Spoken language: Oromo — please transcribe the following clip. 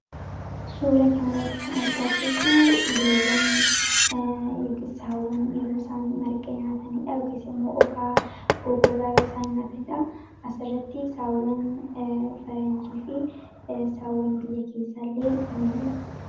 Suura kana irratti kan argaa jiruu loowwan yookiin saawwan yeroo isaan margaa nyaataniidha. Yookiis immoo okaa goggogaa yeroo isaan nyaataniidha. As irratti saawwan faranjii fi saawwan biyya keessa illee in mul'atu.